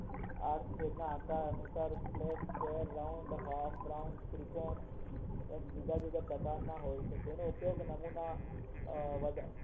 flat square round half round ત્રિકોણ બીજા બીજા પ્રકાર ના હોય છે જેના ઉપયોગ નમૂના આ